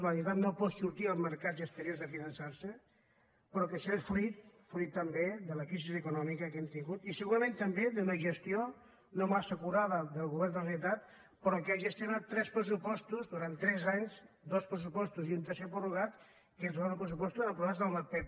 la generalitat no pot sortir als mercats exteriors a finançarse però això és fruit també de la crisi econòmica que hem tingut i segurament també d’una gestió no massa acurada del govern de la generalitat però que ha gestionat tres pressupostos durant tres anys dos pressupostos i un tercer de prorrogat que són pressupostos aprovats amb el pp